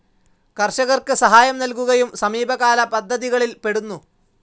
കർഷകർക്ക് സഹായം നൽകുകയും സമീപകാല പദ്ധതികളിൽ പെടുന്നു.